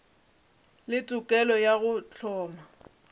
le tokelo ya go hloma